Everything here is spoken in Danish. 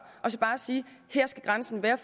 og sige at her skal grænsen være